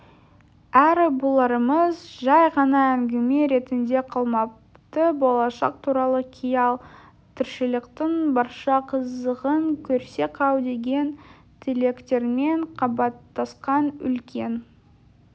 әрі бұларымыз жәй ғана әңгіме ретінде қалмапты болашақ туралы қиял тіршіліктің барша қызығын көрсек-ау деген тілектермен қабаттасқан үлкен